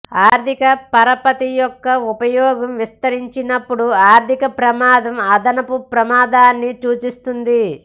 ఆర్ధిక పరపతి యొక్క ఉపయోగం విస్తరించినప్పుడు ఆర్థిక ప్రమాదం అదనపు ప్రమాదాన్ని సూచిస్తుంది